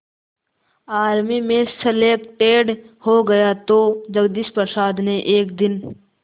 army में selected हो गया तो जगदीश प्रसाद ने एक दिन